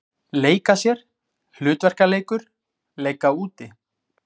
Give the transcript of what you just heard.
Leika sér- hlutverkaleikur- leika úti